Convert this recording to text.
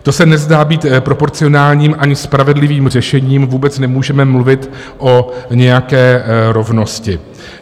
To se nezdá být proporcionálním ani spravedlivým řešením, vůbec nemůžeme mluvit o nějaké rovnosti.